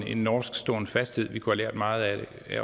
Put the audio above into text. en norsk ståenfasthed vi kunne have lært meget af